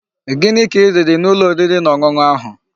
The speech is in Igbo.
Gini ka I riri n'ulo oriri na onunu ahu?